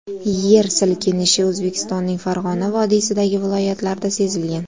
Yer silkinishi O‘zbekistonning Farg‘ona vodiysidagi viloyatlarida sezilgan.